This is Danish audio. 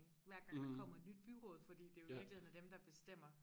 Hver gang der kommer et nyt byråd fordi det jo i virkeligheden er dem der bestemmer